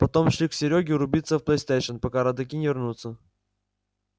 потом шли к серёге рубиться в плейстейшн пока родаки не вернутся